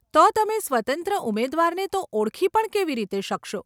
તો તમે સ્વતંત્ર ઉમેદવારને તો ઓળખી પણ કેવી રીતે શકશો?